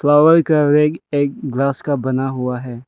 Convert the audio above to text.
Flower का rack एक glass का बना हुआ है।